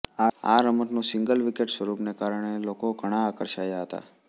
આ રમતનુ single wicket સ્વરૂપને કારણે લોકો ઘણા આકર્ષાયા હતા